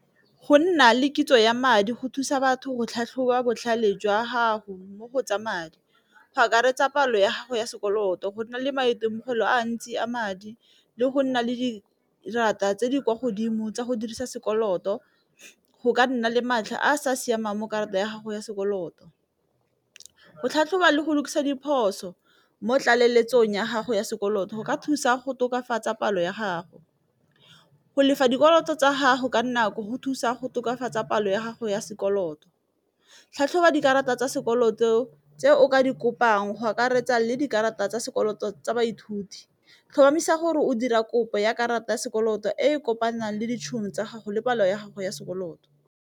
Go nna le kitso ya madi go thusa batho go tlhatlhoba botlhale jwa gago mo go tsa madi, go akaretsa palo ya gago ya sekoloto go na le maitemogelo a mantsi a madi le go nna le dikarata tse di kwa godimo tsa go dirisa sekoloto, go ka nna le matlha a sa siamang mo karata ya gago ya sekoloto. Go tlhatlhoba le go lokisa diphoso mo tlaleletsong ya gago ya sekoloto go ka thusa go tokafatsa palo ya gago, go lefa dikoloto tsa gago ka nako go thusa go tokafatsa palo ya gago ya sekoloto, tlhatlhoba dikarata tsa sekoloto tse o ka di kopang go akaretsa le dikarata tsa sekoloto tsa baithuti, tlhomamisa gore o dira kopo ya karata ya sekoloto e kopanang le ditšhono tsa gago le palo ya gago ya sekoloto.